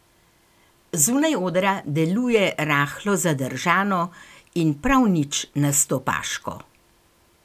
Zunaj odra deluje rahlo zadržano in prav nič nastopaško.